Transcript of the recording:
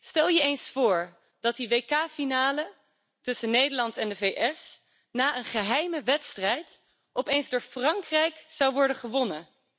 Stel je eens voor dat die WK finale tussen Nederland en de VS na een geheime wedstrijd opeens door Frankrijk zou worden gewonnen.